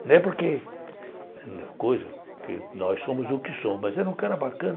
Não é porque... Nós somos o que somos, mas era um cara bacana.